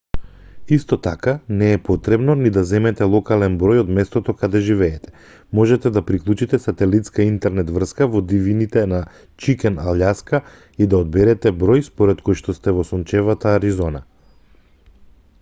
исто така не е потребно ни да земете локален број од местото каде живеете можете да приклучите сателитска интернет врска во дивините на чикен алјаска и да одберете број според којшто сте во сончевата аризона